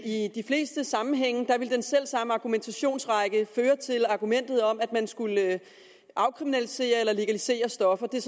i de fleste sammenhænge vil den selv samme argumentationsrække føre til argumentet om at man skal afkriminalisere eller legalisere stoffer det er